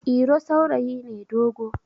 iro saurayi ne dogo